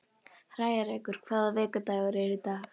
Hrærekur, hvaða vikudagur er í dag?